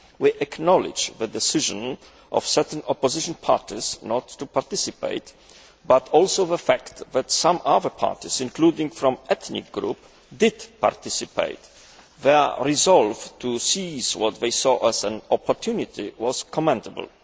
We acknowledge the decision of certain opposition parties not to participate, but also the fact that some other parties, including from ethnic groups, did participate. Their resolve to seize what they saw as an opportunity was commendable.